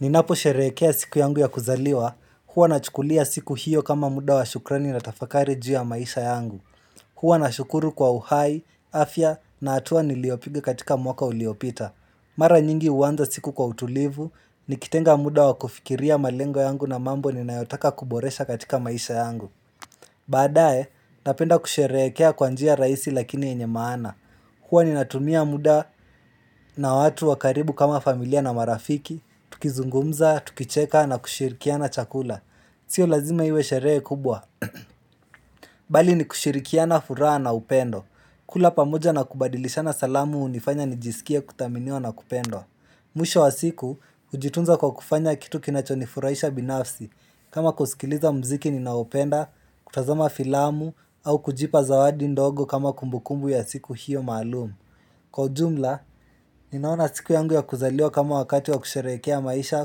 Ninapo sherekea siku yangu ya kuzaliwa, huwa na chukulia siku hiyo kama muda wa shukrani na tafakari juu ya maisha yangu. Huwa na shukuru kwa uhai, afya na atua niliopigi katika mwaka uliopita. Mara nyingi uanza siku kwa utulivu, nikitenga muda wa kufikiria malengo yangu na mambo ni nayotaka kuboresha katika maisha yangu. Badae, napenda kusherekea kwanjia raisi lakini yenye maana. Kwani natunia muda na watu wakaribu kama familia na marafiki, tukizungumza, tukicheka na kushirikiana chakula Sio lazima hiwe sherehe kubwa Bali ni kushirikiana furaha na upendo kula pamoja na kubadilishana salamu unifanya nijisikia kuthaminiwa na kupendo Mwisho wa siku, ujitunza kwa kufanya kitu kinachonifuraisha binafsi kama kusikiliza mziki ni na upenda, kutazama filamu au kujipa zawadi ndogo kama kumbukumbu ya siku hiyo maalumu Kwa jumla, ninaona siku yangu ya kuzaliwa kama wakati wa kusherekea maisha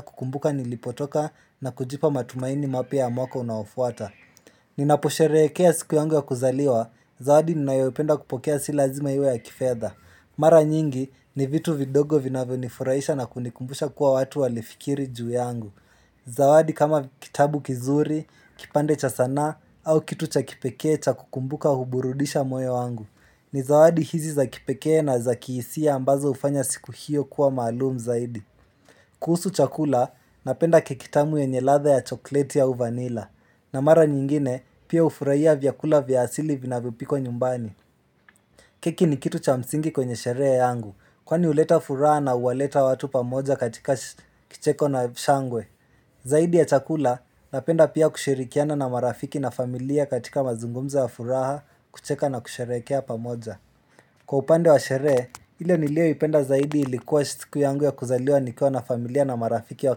kukumbuka nilipotoka na kujipa matumaini mapya ya mwaka unaofuata. Ninapusherekea siku yangu ya kuzaliwa, zawadi ninayopenda kupokea si lazima iwe ya kifedha. Mara nyingi, ni vitu vidogo vinavyonifuraisha na kunikumbusha kuwa watu walifikiri juu yangu. Zawadi kama kitabu kizuri, kipande cha sanaa, au kitu cha kipekee cha kukumbuka huburudisha moe wangu. Ni zawadi hizi za kipekee na za kihisia ambazo ufanya siku hiyo kuwa maalumu zaidi kuhusu chakula napenda keki tamu yenye ladha ya chokoleti au vanila na mara nyingine pia ufuraihia vyakula vya asili vinavyo pikwa nyumbani keki ni kitu cha msingi kwenye sherehe yangu Kwani uleta furaha na uwaleta watu pamoja katika kicheko na shangwe Zaidi ya chakula napenda pia kushirikiana na marafiki na familia katika mazungumzo ya furaha kucheka na kusherehekea pamoja Kwa upande wa sherehe, hile nilio ipenda zaidi ilikuwa chitiku yangu ya kuzaliwa nikua na familia na marafiki wa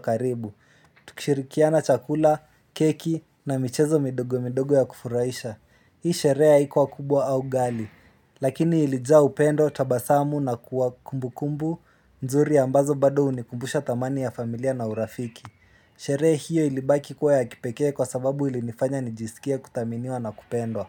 karibu Tukishirikiana chakula, keki na michezo midogo midogo ya kufuraisha Hii sherehe haikuwa kubwa au gali Lakini ilijaa upendo, tabasamu na kuwa kumbu kumbu nzuri ambazo bado unikumbusha thamani ya familia na urafiki Shere hiyo ilibaki kuwa ya kipekea kwa sababu ilinifanya nijisikia kuthaminiwa na kupendwa.